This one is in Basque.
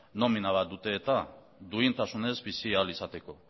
nomina bat dute eta duintasunez bizi ahal izateko